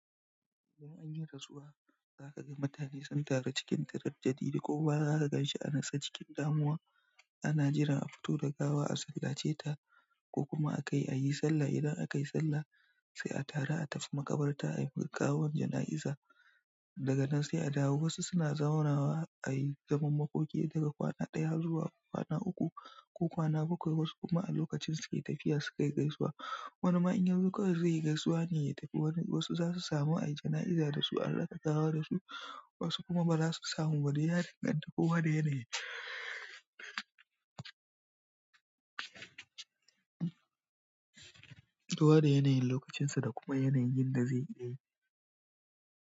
Idan anyi rasuwa, za ka ga mutane sun taru cikin ƙaramar jadida ko gaba za ka ganshi anasa cikin damuwa. Ana jiran a fito da gawa a sallace ta ko kuma a kai a yi sallah. Idan akaye sallah sai ataru atafi makabarta ayiwa gawa jana iza daga nan sai a dawo. Wasu suna zaunawa a yi zaman makoki daga kwana ɗaya zuwa kwana uku ko kwana bakwai. Wasu kuma a lokacin suke tafiya su kai gaisuwa. Wani ma inyazo kwai zaiyi gaisuwane ya tafi wasu zasu samu ayi jana'iza da su araka gawa su wasu kuma dai ya danganta, duka kowa da yanayin. Kowa da yanayin lokacin sa da kuma yanayin yinda zai yi ne.